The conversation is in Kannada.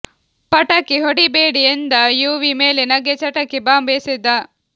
ಪಟಾಕಿ ಹೊಡಿಬೇಡಿ ಎಂದ ಯುವಿ ಮೇಲೆ ನಗೆ ಚಟಾಕಿ ಬಾಂಬ್ ಎಸೆತ